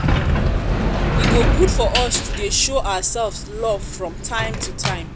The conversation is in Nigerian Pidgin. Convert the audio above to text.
e go good for us to dey show ourselves love from time to time